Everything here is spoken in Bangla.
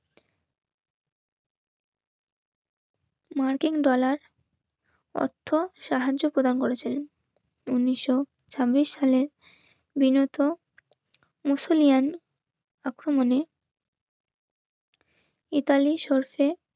মার্কিন ডলার অর্থ সাহায্য প্রদান করেছেন উনিশশো ছাব্বিশ সালের বিনোদ মুসুলিয়ান